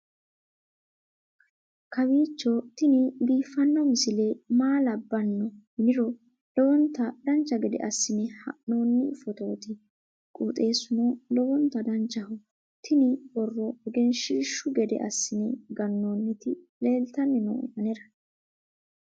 kowiicho tini biiffanno misile maa labbanno yiniro lowonta dancha gede assine haa'noonni foototi qoxeessuno lowonta danachaho. tini borro egenshshiishu gede assine gannoonniti leeltanni nooe anera